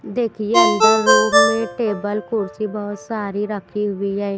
देखिए अंदर रूम में टेबल कुर्सी बहुत सारी रखी हुई है।